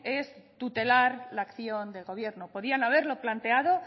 es tutelar la acción de gobierno podían haberlo planteado